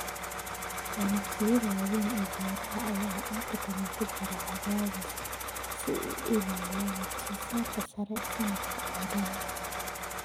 Ganacsiyada waaweyn ee beeraha ayaa inta badan ku jira cadaadis si ay u ilaaliyaan wax soo saarka sare sanadka oo dhan.